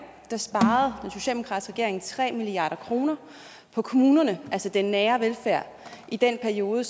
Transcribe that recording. sparede tre milliard kroner på kommunerne altså den nære velfærd i den periode